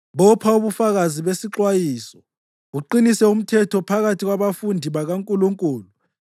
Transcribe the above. Bopha ubufakazi besixwayiso, uqinise umthetho phakathi kwabafundi bakaNkulunkulu.